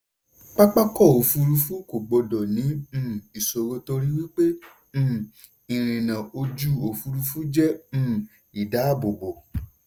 pápákọ̀-òfurufú kò gbọ́dọ̀ ní um ìṣòro torí pé um ìrìnà ojú-òfurufu jẹ́ um ìdáàbòbò.